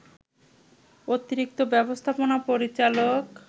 অতিরিক্ত ব্যবস্থাপনা পরিচালক